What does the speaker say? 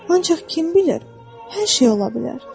Ancaq kim bilir, hər şey ola bilər.